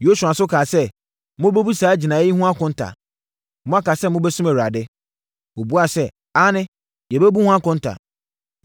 Yosua nso kaa sɛ, “Mobɛbu saa gyinaeɛ yi ho akonta. Moaka sɛ mobɛsom Awurade.” Wɔbuaeɛ sɛ, “Aane, yɛbɛbu ho akonta.”